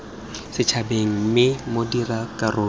setšhabeng mme bo dira karolo